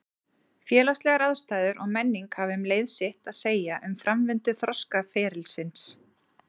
Félagslegar aðstæður og menning hafa um leið sitt að segja um framvindu þroskaferilsins.